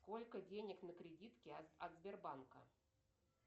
сколько денег на кредитке от сбербанка